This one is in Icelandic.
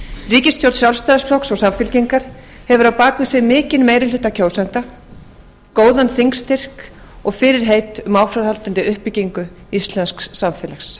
ríkisstjórn sjálfstæðisflokks og samfylkingar hefur á bak við sig mikinn meiri hluta kjósenda góðan þingstyrk og fyrirheit um áframhaldandi uppbyggingu íslensks samfélags